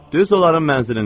Düz onların mənzilinə.